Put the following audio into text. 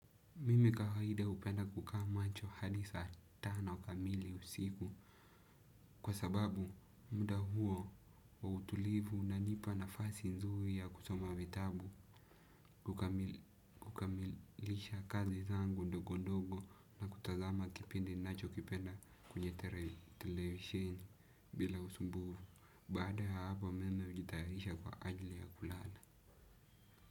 Mimi kawaida hupenda kukaa macho hadi saa tano kamili usiku. Kwa sababu muda huo wa utulivu unanipa nafasi nzuri ya kusoma vitabu. Kukamilisha kazi zangu ndogo ndogo na kutazama kipindi ninachokipenda kwenye televisheni bila usumbuvu. Baada ya hapo mimi hujitayarisha kwa ajli ya kulala.